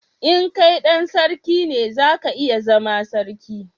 in kai dan sarki ne, za ka iya zaman sarki